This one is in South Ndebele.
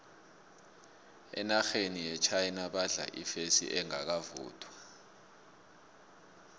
enarheni yechina badla ifesi engakavuthwa